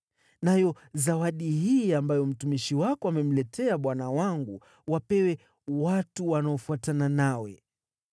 Nayo zawadi hii ambayo mtumishi wako amemletea bwana wangu, wapewe watu wanaofuatana nawe.